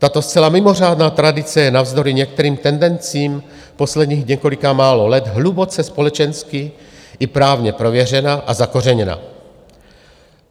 Tato zcela mimořádná tradice je navzdory některým tendencím posledních několika málo let hluboce společensky i právně prověřena a zakořeněna.